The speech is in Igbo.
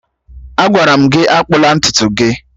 Agwara m gị akpụna ntutu gị!